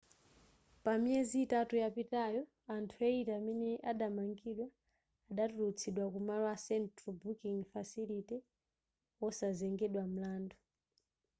pa miyezi itatu yapitayo anthu 80 amene adamangidwa adatulutsidwa ku malo a central booking facility wosazengedwa mlandu